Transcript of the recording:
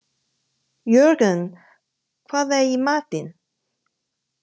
Jörgen, hvað er í matinn?